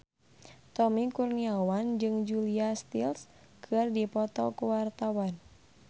Tommy Kurniawan jeung Julia Stiles keur dipoto ku wartawan